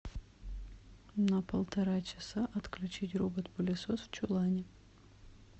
на полтора часа отключить робот пылесос в чулане